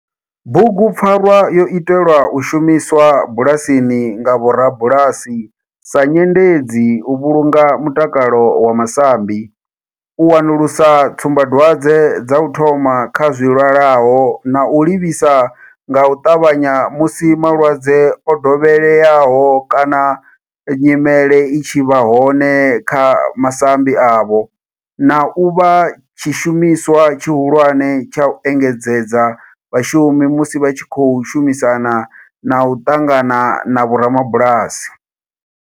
Bugu pfarwa yo itelwa u shumiswa bulasini nga vhorabulasi sa nyendedzi u vhulunga mutakalo wa masambi, u wanulusa tsumbadwadzwe dza u thoma kha zwilwalaho na u livhisa nga u tavhanya musi malwadze o dovheleaho kana nyimele i tshi vha hone kha masambi avho, na u vha tshishumiswa tshihulwane tsha u engedzedza vhashumi musi vha tshi khou shumisana na u ṱangana na vhorabulasi.